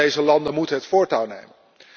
Juist deze landen moeten het voortouw nemen.